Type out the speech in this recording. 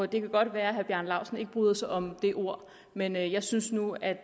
det kan godt være herre bjarne laustsen ikke bryder sig om det ord men jeg synes nu at